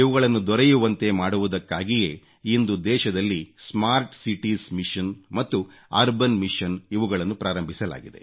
ದೊರೆಯುವಂತೆ ಮಾಡುವುದಕ್ಕಾಗಿಯೇ ಇಂದು ದೇಶದಲ್ಲಿ ಸ್ಮಾರ್ಟ್ ಸಿಟೀಸ್ ಮಿಷನ್ ಮತ್ತು ಅರ್ಬನ್ ಮಿಷನ್ ಇವುಗಳನ್ನು ಪ್ರಾರಂಭಿಸಲಾಗಿದೆ